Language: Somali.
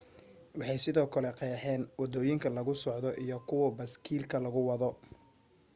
waxay sidoo kale qeexaan wadooyinka lagu socdo iyo kuwa bayskiilka lagu wado